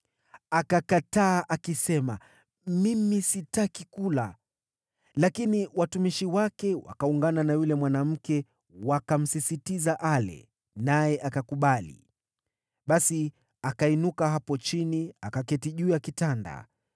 Akakataa, akisema, “Mimi sitaki kula.” Lakini watumishi wake wakaungana na yule mwanamke wakamsihi ale, naye akakubali. Basi akainuka hapo chini, akaketi juu ya kitanda.